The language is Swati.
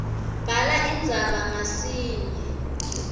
bhala indzaba ngasinye